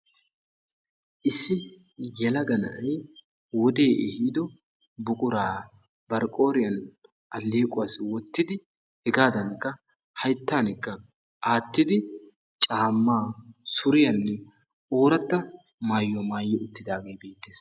Issi yelaga na'ay wodee ehiido buquraa bari qooriyan alleequwassi, wottidi, hegaadankka hayttaanikka aattidi, caammaa, suriyanne ooratta maayuwa maayi uttidaagee beettees.